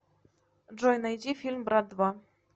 джой найди фильм брат два